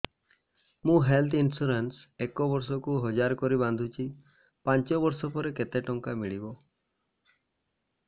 ମୁ health insurance ଏକ ବର୍ଷକୁ ହଜାର କରି ବାନ୍ଧୁଛି ପାଞ୍ଚ ବର୍ଷ ପରେ କେତେ ଟଙ୍କା ମିଳିବ